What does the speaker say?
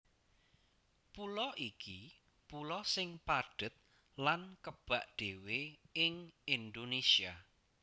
Pulo iki pulo sing padhet lan kebak dhéwé ing Indonésia